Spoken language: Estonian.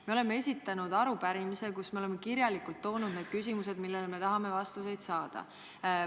Me oleme esitanud arupärimise, kus on kirjalikult toodud küsimused, millele me tahame vastuseid saada.